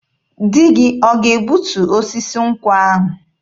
Di gị ọ ga-egbutu osisi nkwụ ahụ?